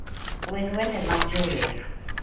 wer wende mag jower